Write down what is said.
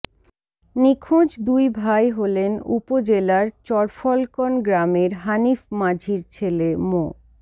নিখোঁজ দুই ভাই হলেন উপজেলার চরফলকন গ্রামের হানিফ মাঝির ছেলে মো